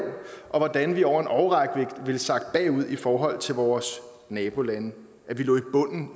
og hvordan vi over en årrække ville sakke bagud i forhold til vores nabolande og at vi lå